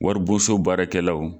Waribonso baarakɛlaw.